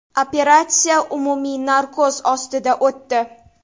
Operatsiya umumiy narkoz ostida o‘tdi.